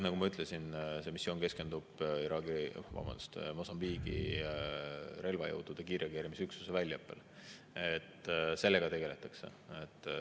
Nagu ma ütlesin, see missioon keskendub Mosambiigi relvajõudude kiirreageerimisüksuste väljaõppele, sellega tegeldakse.